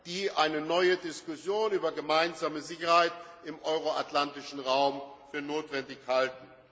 Seite, die eine neue Diskussion über gemeinsame Sicherheit im euro atlantischen Raum für notwendig halten.